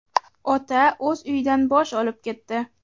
Ota o‘z uyidan bosh olib ketdi.